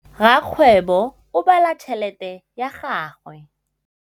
Rakgwêbô o bala tšheletê ya gagwe.